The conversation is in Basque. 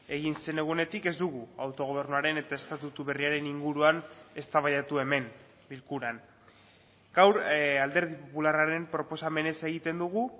egin zen egunetik ez dugu autogobernuaren eta estatutu berriaren inguruan eztabaidatu hemen bilkuran gaur alderdi popularraren proposamenez egiten dugu